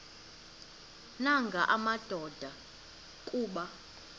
nanga madoda kuba